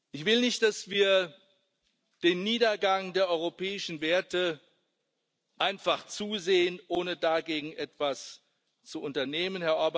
Ich will nicht, dass wir dem Niedergang der europäischen Werte einfach zusehen, ohne dagegen etwas zu unternehmen.